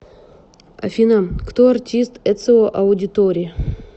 афина кто артист эцио аудиторе